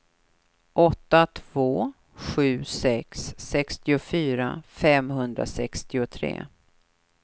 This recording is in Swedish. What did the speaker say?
åtta två sju sex sextiofyra femhundrasextiotre